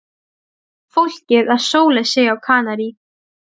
Fólkið að sóla sig á Kanarí.